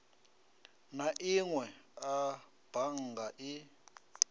na inwe a bannga i